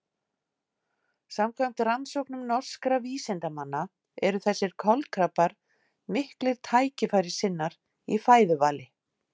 Samkvæmt rannsóknum norskra vísindamanna eru þessir kolkrabbar miklir tækifærissinnar í fæðuvali.